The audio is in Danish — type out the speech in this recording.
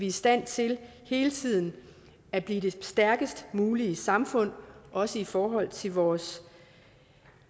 i stand til hele tiden at blive det stærkest mulige samfund også i forhold til vores